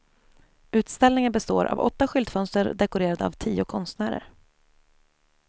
Utställningen består av åtta skyltfönster dekorerade av tio konstnärer.